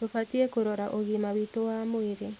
Tũbatiĩ kũrora ũgima witũ wa mwĩrĩ